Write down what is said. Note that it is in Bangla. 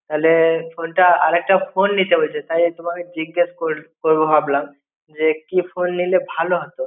তালে ফোনটা, আর একটা ফোন নিতে বলছে. তাই তোমাকে জিজ্ঞেস করবো ভাবলাম, যে কী ফোন নিলে ভালো হতো.